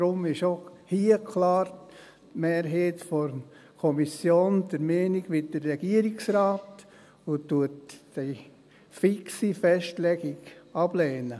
Daher ist die Mehrheit der Kommission auch hier klar der Meinung des Regierungsrates und lehnt die fixe Festlegung ab.